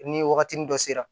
Ni wagatinin dɔ sera